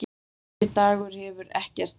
Þessi Dagur hefur ekkert breyst.